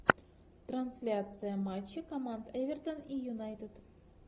трансляция матча команд эвертон и юнайтед